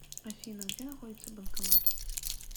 афина где находится банкомат